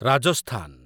Rajasthan